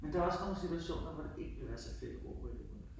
Men der er også nogle situationer, hvor det ikke ville være så fedt at bo på en ø